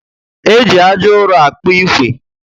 Eji ájá uro akpu ikwe